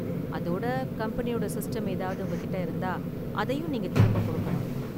அதோட கம்பெனியோட சிஸ்டம் ஏதாவது உங்ககிட்ட இருந்தா அதையும் நீங்க திரும்ப கொடுக்கணும்.